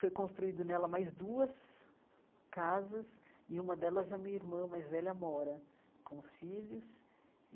Foi construída nela mais duas casas e uma delas a minha irmã mais velha mora com os filhos.